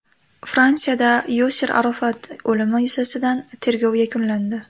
Fransiyada Yosir Arofat o‘limi yuzasidan tergov yakunlandi.